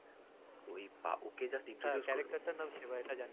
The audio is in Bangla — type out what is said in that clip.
ওই